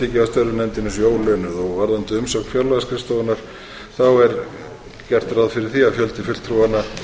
og þá er tiltekið að nefndin sé ólaunuð varðandi umsögn fjárlagaskrifstofunnar er gert ráð fyrir því að fjöldi fulltrúanna